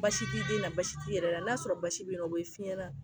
Baasi t'i den na baasi t'i yɛrɛ la n'a sɔrɔ baasi bɛ nɔ o ye f'i ɲɛna